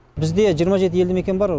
бізде жиырма жеті елді мекен бар